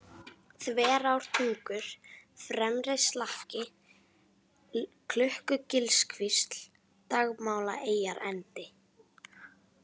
Þverártungur, Fremrislakki, Klukkugilskvísl, Dagmálaeyjarendi